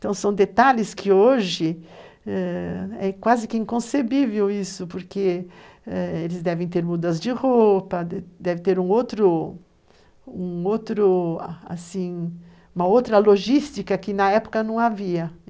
Então são detalhes que hoje ãh quase que inconcebível isso, porque eles devem ter mudas de roupa, deve ter um outro, um outro, assim, uma outra logística que na época não havia.